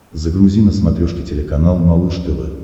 загрузи на смотрешке телеканал малыш тв